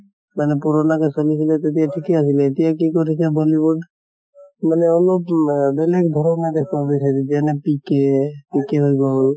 মানে পুৰণা তে চলছিলে তেতিয়া ঠিকে আছিলে, এতিয়া কি কৰিছে bollywood মানে অলপ নাহ বেলেগ ধৰণ দেখোৱা গৈছে যেতিয়া এনে pk pk হৈ গʼল